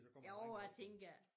Jo jeg tænker